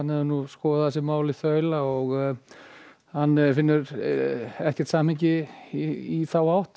hefur skoðað þessi mál í þaula og finnur ekkert samhengi í þá átt